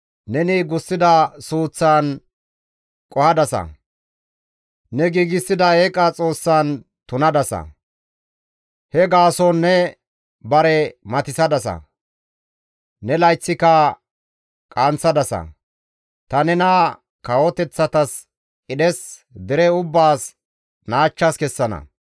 Neni gussida suuththan qohadasa; ne giigsida eeqa xoossan tunadasa. He gaason ne bare matissadasa; ne layththika qaanththadasa; ta nena kawoteththatas qidhes, dere ubbaas naachchas kessana.